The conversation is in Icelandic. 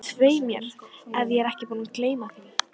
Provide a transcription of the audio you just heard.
Svei mér ef ég er ekki búinn að gleyma því